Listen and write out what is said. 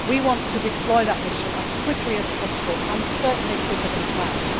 We want to deploy that mission as quickly as possible, and certainly more quickly than we had planned.